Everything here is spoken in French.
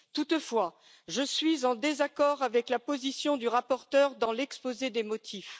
Toutefois, je suis en désaccord avec la position du rapporteur dans l'exposé des motifs.